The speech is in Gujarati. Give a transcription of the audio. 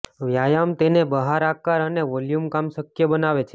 વ્યાયામ તેને બહાર આકાર અને વોલ્યુમ કામ શક્ય બનાવે છે